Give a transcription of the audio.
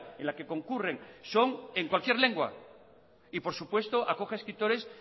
en la que concurren son en cualquier lengua y por supuesto acoge escritores